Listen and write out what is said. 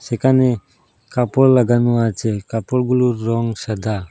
একানে কাপড় লাগানো আচে কাপড়গুলোর রং সাদা।